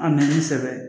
An bɛ ni sɛbɛn